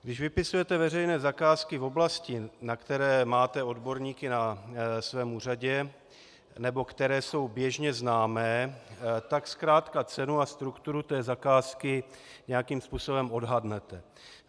Když vypisujete veřejné zakázky v oblasti, na které máte odborníky na svém úřadě nebo které jsou běžně známé, tak zkrátka cenu a strukturu té zakázky nějakým způsobem odhadnete.